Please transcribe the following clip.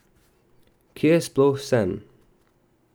Kje sploh sem?